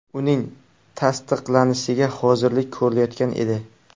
Uning tasdiqlanishiga hozirlik ko‘rilayotgan edi.